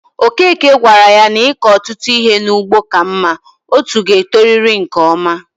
Okeke gawara yá n'iko ọtụtụ ihe n'ugbo ka mma, otú ga e toriri nke ọma